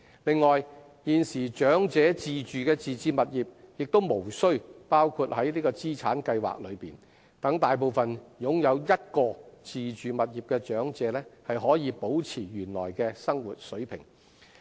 此外，現時長者自住的自置物業亦無需包括在資產計算內，讓大部分擁有1個自住物業的長者可保持原來的生活水平。